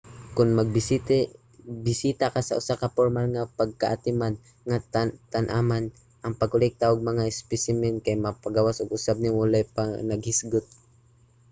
kon magbisita sa usa ka pormal nga pagkaatiman nga tanaman ang pagkolekta og mga espesimen kay makapagawas usab nimo walay panaghisgot